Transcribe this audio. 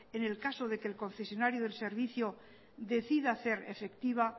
en el caso de que el concesionario del servicio decida hacer efectiva